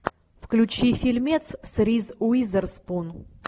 включи фильмец с риз уизерспун